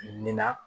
Nin na